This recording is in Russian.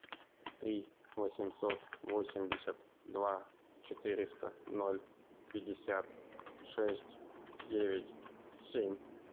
три восемьсот восемьдесят два четыреста ноль пятьдесят шесть девять семь